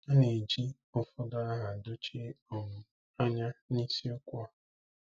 A na-eji ụfọdụ aha dochie um anya n'isiokwu a.